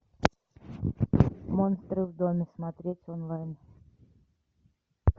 монстры в доме смотреть онлайн